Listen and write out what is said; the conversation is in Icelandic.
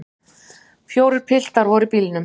Fjórir piltar voru í bílnum.